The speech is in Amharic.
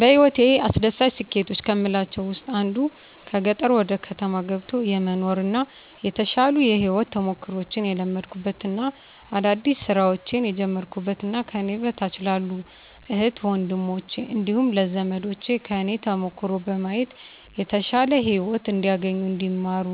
በህይወቴ አስደሳች ስኬቶች ከምላቸው ውስጥ አንዱ ከገጠር ወደ ከተማ ገብቶ የመኖር እና የተሻሉ የህይወት ተሞክሮችን የለመድኩበት እና አዳዲስ ስራዎችን የጀመርኩበት እና ከኔ በታች ላሉ እህት ወንድሞቸ እንዲሁም ለዘመዶቸ ከኔ ተሞክሮ በማየት የተሻለ ህይወት እንዲያገኙ እንዲማሩ